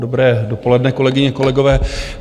Dobré dopoledne, kolegyně, kolegové.